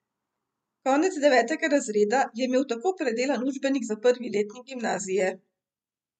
Konec devetega razreda je imel tako predelan učbenik za prvi letnik gimnazije ...